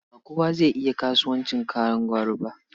Ba kowa zai iya kasuwancin kayan gwari ba.